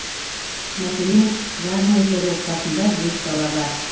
мәселен гавнерлер отбасында бес бала бар